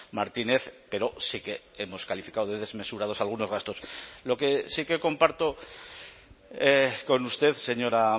martínez pero sí que hemos calificado de desmesurados algunos gastos lo que sí que comparto con usted señora